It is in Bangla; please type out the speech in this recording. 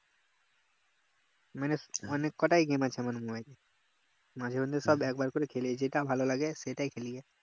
মানে অনেক কটায় game আছে আমার mobile এ মাঝের মধ্যে সব একবার করে খেলি যেটা ভালো লাগে সেটাই খেলি